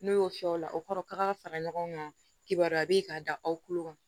N'o y'o fiyɛ o la o kɔrɔ k'a ka fara ɲɔgɔn kan kibaruya bɛ ye ka da aw kulo kan